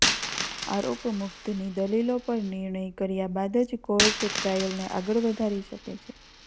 આરોપમુક્તની દલીલો પર નિર્ણય કર્યા બાદ જ કોર્ટ ટ્રાયલને આગળ વધારી શકે છે